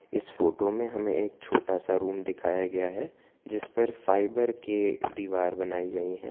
इस फोटो में हमें एक छोटा सा रूम दिखाया गया है जिसपर फाइबर के दीवार बनाई गई है।